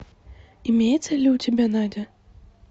имеется ли у тебя надя